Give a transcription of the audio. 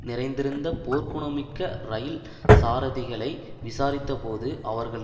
நிறைந்திருந்த போர்க்குணமிக்க இரயில் சாரதிகளை விசாரித்த போது அவர்கள்